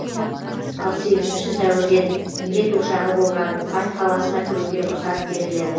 ал сегізінші сәуірден індет ошағы болған ухань қаласына кіруге рұқсат беріледі